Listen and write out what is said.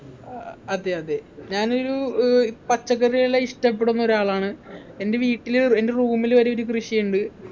ആഹ് അതെയതെ ഞാനൊരു ഏർ ഇ പച്ചക്കറികളെ ഇഷ്ടപ്പെടുന്ന ഒരാളാണ് എൻ്റെ വീട്ടില് എൻ്റെ room ല് വരെ ഒരു കൃഷിയുണ്ട്